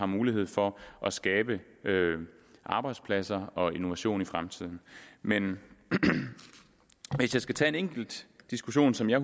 mulighed for at skabe arbejdspladser og innovation i fremtiden men hvis jeg skal tage en enkelt diskussion som jeg